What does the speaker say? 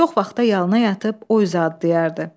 Çox vaxt da yalına yatıb o üzə adlayırdı.